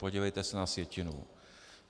Podívejte se na sjetinu.